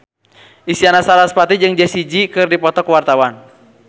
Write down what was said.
Isyana Sarasvati jeung Jessie J keur dipoto ku wartawan